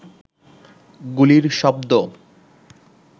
গুলির শব্দ